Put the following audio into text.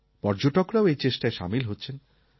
পর্যটকরাও এই চেষ্টায় সামিল হচ্ছেন